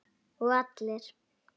Og allir.